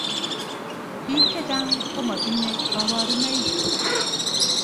Bik chechang komatinye kabaruneik.